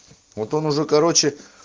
вот он уже короче